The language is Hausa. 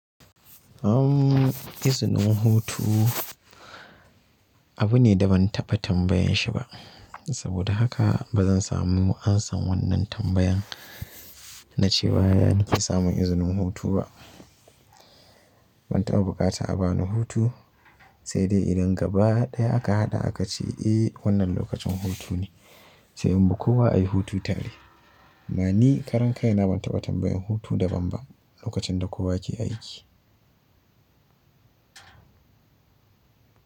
Uhm, izinin hutu abu ne da ban taɓa tambayanshi ba. Saboda haka ba zan samu an san wannan tambayan na ce ba na fi samun izinin hutu ba. Ban taɓa bukatan a bani hutu sai dai idan gaba ɗaya aka haɗa aka ce, "Eh wannan lokacin hutu ne." Sai inbi kowa ai hutu tare. Amma ni karan kai na ban taɓa tambayan hutu daban ba lokacin da kowa ke aiki.